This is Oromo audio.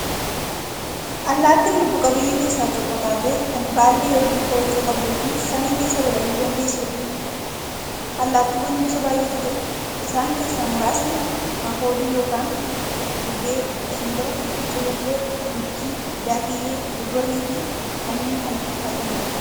Allaattiin lubbuu qabeeyyii keessaa tokko taatee, kan baallee yookiin koochoo qabduufi samii keessaa balali'uu dandeessuudha. Allaattiiwwan gosa baay'eetu jira. Isaan keessaa muraasni; makoodii yookiin gugee, simbira, culullee, guchii, daakkiyyee, gogorriifi kanneen kana fakkaataniidha.